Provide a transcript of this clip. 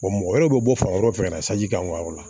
mɔgɔ wɛrɛw bɛ bɔ fan wɛrɛw fɛ ka na sanji k'an ka yɔrɔ la